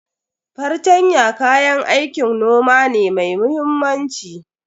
Fartanya kayan aikin noma ne mai muhimmanci.